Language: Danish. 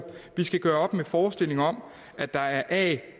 vi skal gøre op med forestillingen om at der er a